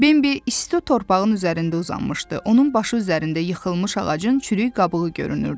Bembi isti torpağın üzərində uzanmışdı, onun başı üzərində yıxılmış ağacın çürük qabığı görünürdü.